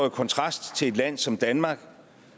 i kontrast til et land som danmark